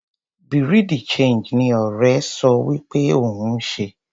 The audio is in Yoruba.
Bureau de change ni ọrẹ so wí pé òun ń ṣe.